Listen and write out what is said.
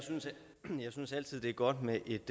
synes altid det er godt med et